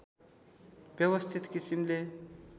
व्यवस्थित किसिमले